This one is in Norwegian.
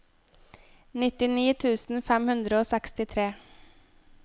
nittini tusen fem hundre og sekstitre